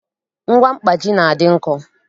Ngwa mkpaji na-adị nkọ